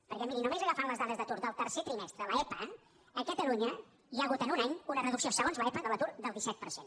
perquè miri només agafant les dades d’atur del tercer trimestre l’epa a catalunya hi ha hagut en un any una reducció segons l’epa de l’atur del disset per cent